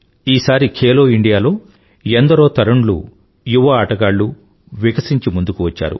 ఈసారి ఖేలో ఇండియాలో ఎందరో తరుణ్ లు యువ ఆటగాళ్ళూ వికశించి ముందుకువచ్చారు